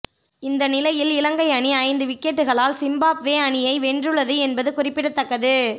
இந்தநிலையில் இலங்கை அணி ஐந்து விக்கெட்டுக்களால் சிம்பாப்வே அணியை வென்றுள்ளது என்பது குறிப்பிடத்தக்கது